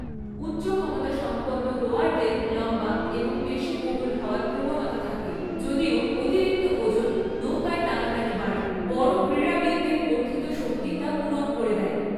উচ্চ ক্ষমতাসম্পন্ন রোয়ারদের লম্বা এবং পেশীবহুল হওয়ার প্রবণতা থাকে, যদিও অতিরিক্ত ওজন নৌকায় টানাটানি বাড়ায়, বড় ক্রীড়াবিদের বর্ধিত শক্তি তা পূরণ করে দেয়।